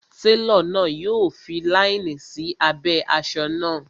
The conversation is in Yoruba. Télọ̀ náà yọ fi láínì sí abẹ́ asọ náà